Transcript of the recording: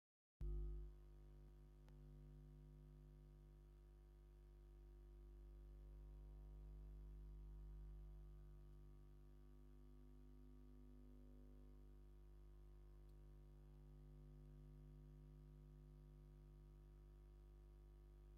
ሓንቲ ባህላዊ ናይ ራያ ኪዳን ዝተከደነት ፀጉራ እውን ዝተቆነነት ትቦሪካ ፃህያይ ትፅሂ ኣላ ። ኣብ ዙርይኣ ሓምላዋይ ትክልታት ኣለዉ ።